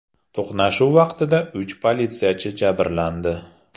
To‘qnashuv vaqtida uch politsiyachi jabrlandi.